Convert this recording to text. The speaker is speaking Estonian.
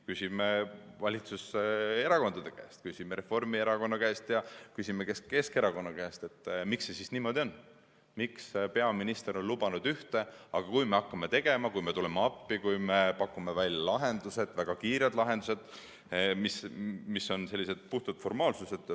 Küsime valitsuserakondade käest, küsime Reformierakonna käest ja küsime Keskerakonna käest, miks see siis niimoodi on, miks peaminister on lubanud ühte, aga kui me hakkame tegema, kui me tuleme appi, kui me pakume välja lahendused, väga kiired lahendused, mis on sellised puhtalt formaalsused ...